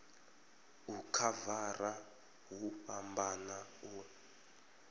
u khavara hu fhambana u